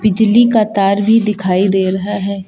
बिजली का तार भी दिखाई दे रहा है।